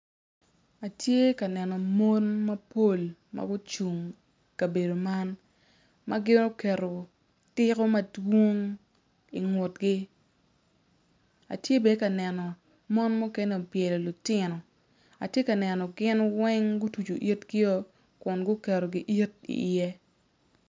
Atye ka neno mon mapol ma gucung i kabedo man ma gin oketo tiko madwong ingutgi atye bene ka neno mon mukene obyelo lutino atye ka neno gin weng gutucu itgio kun guketo giit iye.